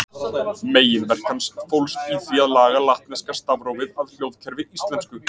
Meginverk hans fólst í því að laga latneska stafrófið að hljóðkerfi íslensku.